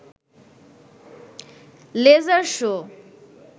laser show